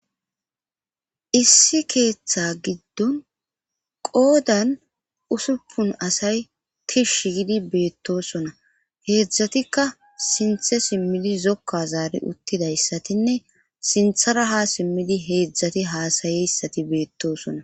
issi keeththe giddon qoodan usuppun asay tishshi gidi beettosona heedzdzatikka sinthe simmidi zokka zaari uttidayssatinne sinthara ha simmidi heedzdzati haasayeyssati beettosona